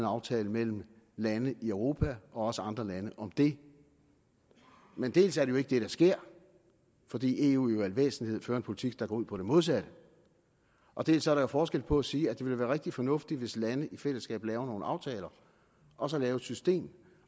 aftale mellem lande i europa og også andre lande om det men dels er det jo ikke det der sker fordi eu i al væsentlighed fører en politik der går ud på det modsatte og dels er der jo forskel på at sige at det ville være rigtig fornuftigt hvis lande i fællesskab lavede nogle aftaler og så at lave et system